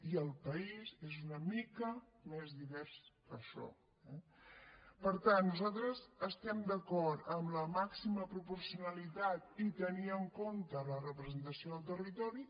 i el país és una mica més divers que això eh per tant nosaltres estem d’acord amb la màxima proporcionalitat i tenir en compte la representació del territori